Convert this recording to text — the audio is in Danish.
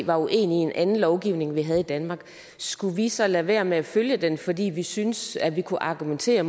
var uenige i en anden lovgivning vi havde i danmark skulle vi så lade være med at følge den fordi vi syntes at vi kunne argumentere